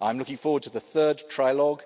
I'm looking forward to the third trilogue